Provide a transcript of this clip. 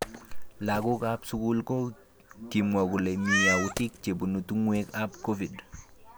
Lagok ap sukul ko kimwaa kole mi autik chebunu tungwek ap COVID.